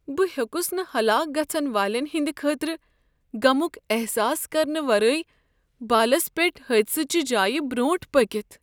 بہٕ ہیوٚکس نہٕ ہلاک گژھن والین ہنٛد خٲطرٕ غمک احساس کرنہٕ ورٲے بالس پیٹھ حٲدثہٕ چہ جایہ برٛونٹھ پٔکتھ۔